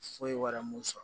Foyi wɛrɛ mun sɔrɔ